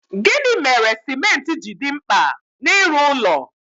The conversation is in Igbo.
Gịnị mere cimenti ji dị mkpa n'ịrụ ụlọ?